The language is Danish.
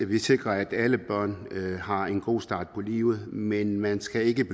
vi sikrer at alle børn har en god start på livet men man skal ikke